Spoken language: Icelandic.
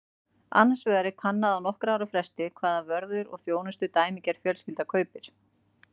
Annars vegar er kannað á nokkurra ára fresti hvaða vörur og þjónustu dæmigerð fjölskylda kaupir.